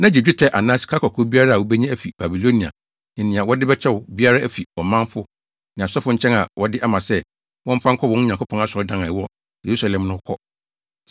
na gye dwetɛ anaa sikakɔkɔɔ biara a wubenya afi Babilonia ne nea wɔde bɛkyɛ wo biara afi ɔmanfo ne asɔfo nkyɛn a wɔde ama sɛ, wɔmfa nkɔ wɔn Nyankopɔn asɔredan a ɛwɔ Yerusalem no kɔ.